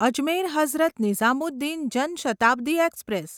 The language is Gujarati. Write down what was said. અજમેર હઝરત નિઝામુદ્દીન જન શતાબ્દી એક્સપ્રેસ